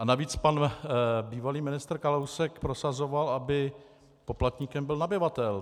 A navíc pan bývalý ministr Kalousek prosazoval, aby poplatníkem byl nabyvatel.